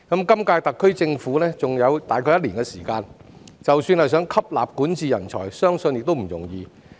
今屆特區政府的任期還有約一年的時間，即使想吸納管治人才，相信亦不容易。